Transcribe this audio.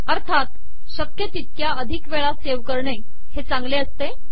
अर्थात शक्य तितक्या अधिक वेळा सेव्ह करणे हे चांगले असते